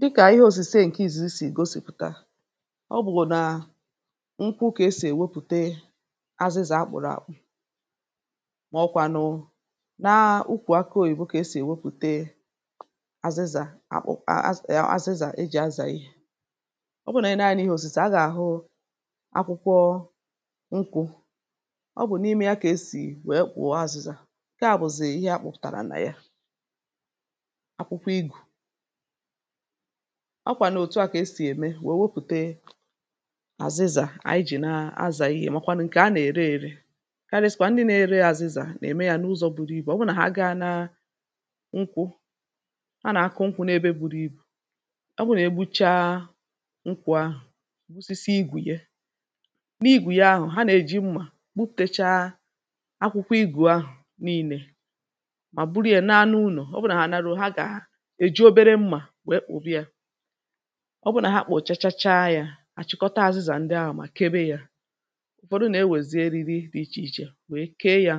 Dịkà ihe òsìse ǹkè ìzizi sì gosìpụ̀ta; ọ bụ̀ nà nkwụ kà e sì èwepùte azịzà a kpọ̀rọ̀ àkpụ, mà ọ kwȧnụ̀ na ukwù akị oyibo kà e sì èwepùte azịzà akpu az e azịzà e jì azà. ọ bụ nà anyi lee anya n’ihe òsìse, a gà-àhụ akwụkwọ nkwụ̇. ọ bụ̀ n’ime ya kà esì wèe kpòo azịzà. Nkè a bụ̀̀ zì ihe a kpuputàrà nà ya. Akwukwo igu, a kwànù òtù a kà esì ème wèe wepùte azịzà ànyị ji̇ na-azà ihe màkwanụ̀ ǹkè a nà-ère ėrė. Karịsikwa ndị nȧ-ère àzịzà nà-ème yȧ n’ụzọ̇ buru ibù. ọ bụụ nà ha agȧ na nkwụ, a nà-akụ nkwụ̇ n’ebe buru ibù, ọ bụụ nà egbu̇cha nkwụ̇ ahụ̀, osisi igù ya. N’igù ya ahụ̀, ha nà-èji mmȧ buputecha akwụkwọ igù ahụ̀ niilė mà burie ya naa n’unò. ọ bụụ nà ha larúo, ha gà-eji obere mma wee kpuba ya. ọ bụrụ nà ha kpọ̀ chachacha yȧ, àchịkọta azịzà ndị ahụ̀ mà kebe yȧ. ụ̀fọdụ nà-ewèzie eriri dị ichè ichè wèe kee yȧ,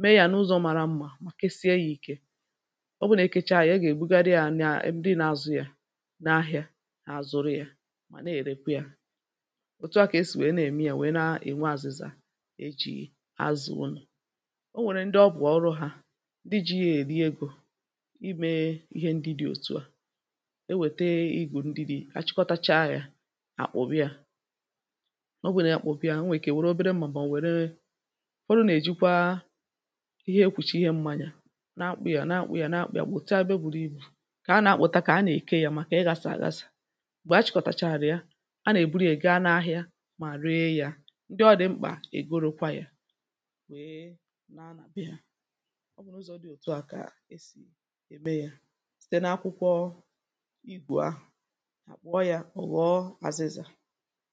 mee yȧ n’ụzọ̇ màrà mmȧ, mà kesie yȧ ìkè. o bụrụ nà ekėcha yȧ ọ gà-èbùgadị yȧ nà ndị na-azụ̇ yȧ n’ahịȧ àzụrụ yȧ mà na-èrèkwe yȧ. òtù a kà esì wèe na-ème yȧ wèe na-ènwe àzịza e jì azụ̀ unù. o nwèrè ndị ọ bụ̀ ọrụ hȧ, ndi ji ye èri egȯ, ime ihe ndi di otua. E wèteigù ndịdi, achịkọtacha yȧ àkpọbi yȧ, ọ bụrụ nà akpọbiȧ, o nwèrè obere mmà mà nwèrè, ufodu nà-èjikwa ihe ekwùcha ihe mmȧnyȧ na-akpụ̇ yȧ na-akpụ̇ yȧ na-akpụ̇ yà bụ̀ òtu abịa ebe o buru ibù, kà a nà-akpụta kà a nà-eke yȧ mà kà ị ghȧsà àghàsà. Mgbè achịkọtàcha àrụ̀ ya, a nà-èburu yȧ ga n’ahịa mà ree yȧ. Ndị ọdị̀ mkpà ègorụkwa yȧ wee naa nà bee hȧ. ọ bụ̀ n’ụzọ̇ dị òtu à kà e sì ème yȧ site n’akwukwo igu ahu, akpụọ yȧ oghọ àzịza.